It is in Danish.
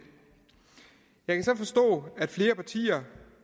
jeg kan så forstå at flere partier